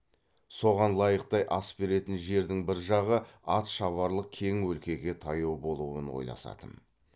соған лайықтай ас беретін жердің бір жағы ат шабарлық кең өлкеге таяу болуын ойласатын